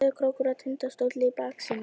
Sauðárkrókur og Tindastóll í baksýn.